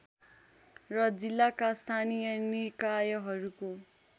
र जिल्लाका स्थानीय निकायहरूको